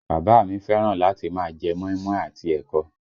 Bàbá a mi fẹ́ràn láti máa jẹ́ móímóí àti ẹ̀kọ